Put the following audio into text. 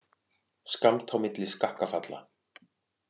Skammt á milli skakkafalla